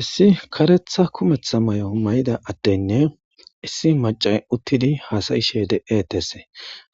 Issi karetha kumetha may'o may'ida adtenne issi maca uttidi haasayishe de7etese